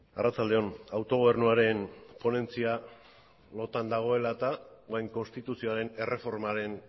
arratsalde on autogobernuaren ponentzia lotan dagoela eta orain konstituzioaren erreformaren